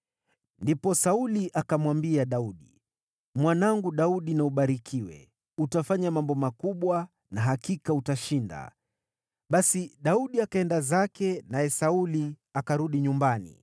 Ndipo Sauli akamwambia Daudi, “Mwanangu Daudi na ubarikiwe; utafanya mambo makubwa na hakika utashinda.” Basi Daudi akaenda zake, naye Sauli akarudi nyumbani.